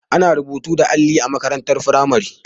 Ana rubutu da alli a makarantar firamare.